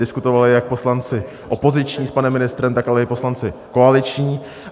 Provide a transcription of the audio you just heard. Diskutovali jak poslanci opoziční s panem ministrem, tak ale i poslanci koaliční.